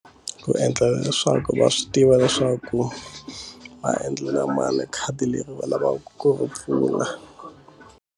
Ku endlela leswaku va swi tiva leswaku va endlela mali khadi leri va lavaka ku pfula.